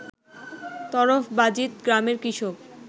তরফবাজিত গ্রামের কৃষক